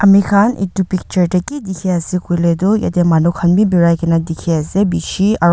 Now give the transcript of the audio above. amikhan etu picture te ki dikhi ase koile toh yate manukhan bi birai kena dikhi ase bishi aru.